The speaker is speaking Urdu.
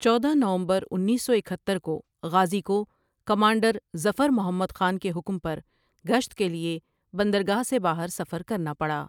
چودہ نومبر انیس سو اکہتر کو غازی کو کمانڈر ظفر محمد خان کے حکم پر گشت کے لیے بندرگاہ سے باہر سفر کرنا پڑا ۔